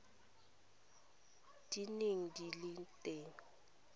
di neng di le teng